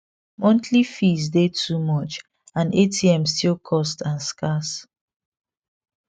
monthly fees dey too much and atm still cost and scarce